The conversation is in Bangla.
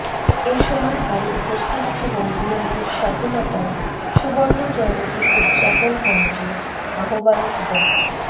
এ সময় আরো উপস্থিত ছিলেন বিএনপির স্বাধীনতার সুবর্ণজয়ন্তী উদযাপন কমিটির আহ্বায়ক ড